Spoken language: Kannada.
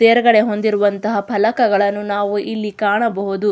ತೇರ್ಗಡೆ ಹೊಂದಿರುವಂಥ ಫಲಕಗಳನ್ನು ನಾವು ಇಲ್ಲಿ ಕಾಣಬಹುದು.